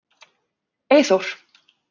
Eyþór